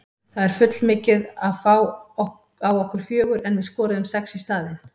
Það er full mikið að fá á okkur fjögur en við skoruðum sex í staðinn.